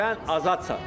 Sən azadsan.